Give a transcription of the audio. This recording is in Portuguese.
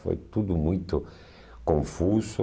Foi tudo muito confuso.